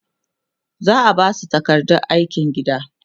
za'a Basu takardar aikin gida